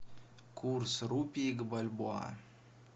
курс рупий к бальбоа